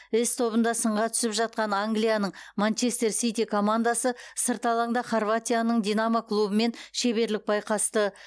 с тобында сынға түсіп жатқан англияның манчестер сити командасы сырт алаңда хорватияның динамо клубымен шеберлік байқасты